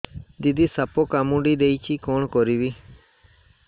ଦିଦି ସାପ କାମୁଡି ଦେଇଛି କଣ କରିବି